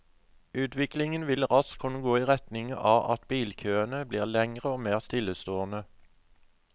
Utviklingen vil raskt kunne gå i retning av at bilkøene blir lengre og mer stillestående.